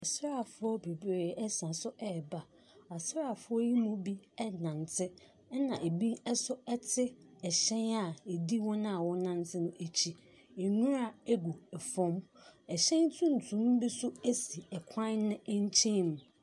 Asraafoɔ bebree ɛsan so ɛreba. Asraafoɔ yi mu bi ɛrenante na ebi nso ɛte ɛhyɛn a ɛdi wɔn a wɔn renante no akyi. Nwura ɛgu ɛfam. Ɛhyɛn tumtum bi nso ɛsi ɛkwan no nkyɛn mu.